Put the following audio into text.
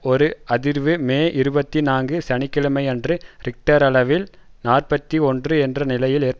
ஒரு அதிர்வு மே இருபத்தி நான்கு சனி கிழமையன்று ரிக்டர் அளவில் நாற்பத்தி ஒன்று என்ற நிலையில் ஏற்பட்டது